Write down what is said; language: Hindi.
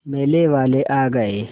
मेले वाले आ गए